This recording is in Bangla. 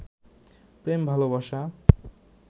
প্রেম ভালবাসা